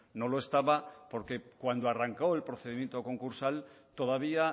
no lo estaba porque cuando arrancó el procedimiento concursal todavía